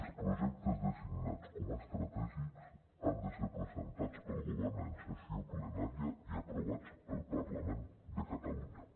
els projectes designats com a estratègics han de ser presentats pel govern en sessió plenària i aprovats pel parlament de catalunya